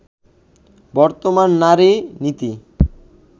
বর্তমান নারী-নীতি